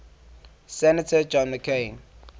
senator john mccain